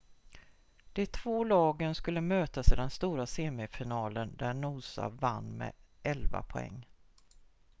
de två lagen skulle mötas i den stora semifinalen där noosa vann med 11 poäng